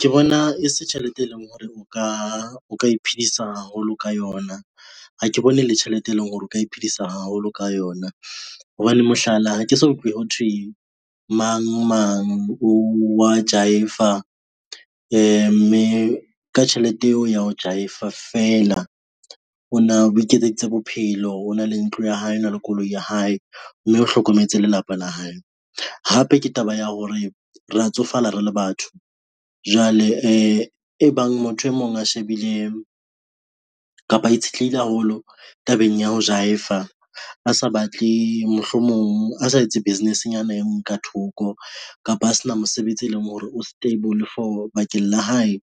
Ke bona e se tjhelete, e leng hore o ka iphedisa haholo ka yona ha ke bone e le tjhelete e leng hore o ka iphedisa haholo ka yona, hobane mohlala ha ke so utlwe ho thwe mang mang wa jive-a mme ka tjhelete eo ya ho jive-a a fela o na o iketseditse bophelo, ho na le ntlo ya hae, o na le koloi ya hae mme o hlokometse lelapa la hae. Hape ke taba ya hore re ya tsofala re le batho jwale e bang motho e mong a shebile kapa itshetlehile haholo tabeng ya ho Jive-fa a sa batle mohlomong a sa etse business-nyana e ngwe ka thoko kapa ho sena mosebetsi e leng hore o stable for bakeng la hae,